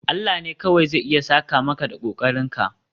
Allah ne kawai zai iya saka maka da kokarinka